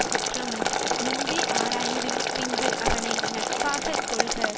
சுற்றமும் முன்பே ஆராய்ந்து பின்பு அவனை நட்பாக கொள்க